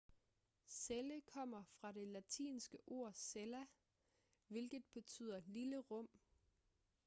celle kommer fra det latinske ord cella hvilket betyder lille rum